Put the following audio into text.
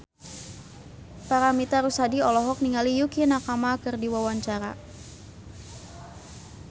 Paramitha Rusady olohok ningali Yukie Nakama keur diwawancara